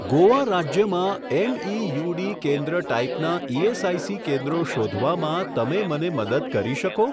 ગોવા રાજ્યમાં એમઇયુડી કેન્દ્ર ટાઈપનાં ઇએસઆઇસી કેન્દ્રો શોધવામાં તમે મને મદદ કરી શકો?